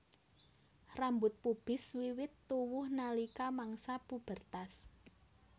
Rambut pubis wiwit tuwuh nalika mangsa pubertas